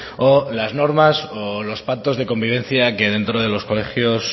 o las normas o los pactos de convivencia que dentro de los colegios